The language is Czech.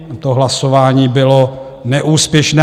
To hlasování bylo neúspěšné.